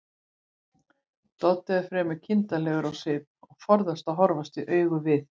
Doddi er fremur kindarlegur á svip og forðast að horfast í augu við